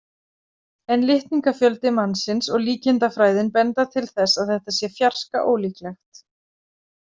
En litningafjöldi mannsins og líkindafræðin benda til þess að þetta sé fjarska ólíklegt.